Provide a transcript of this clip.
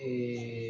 Ee